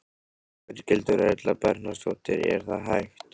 Berghildur Erla Bernharðsdóttir: Er það hægt?